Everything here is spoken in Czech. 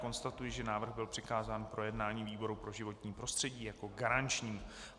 Konstatuji, že návrh byl přikázán k projednání výboru pro životní prostředí jako garančnímu.